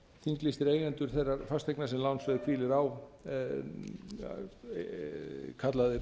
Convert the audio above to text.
þinglýstir eigendur þeirrar fasteignar sem lánsveð hvílir á kallaðir